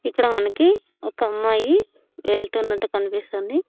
ఇక్కడ మనకి ఒకమ్మాయి వెళ్తున్నట్టు కనిపిస్తుంది.